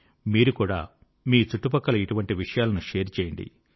మీరు కూడా మీ చుట్టుపక్కల ఇటువంటి విషయాలను షేర్ చేయండి